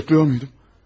Sayıqlayırdımmı?